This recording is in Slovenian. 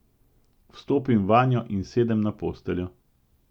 Vstopim vanjo in sedem na posteljo.